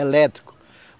Elétrico.